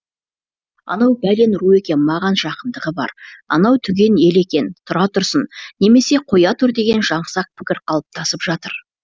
анау бәлен ру екен маған жақындығы бар анау түген ел екен тұра тұрсын немесе қоя тұр деген жаңсақ пікір қалыптасып жатыр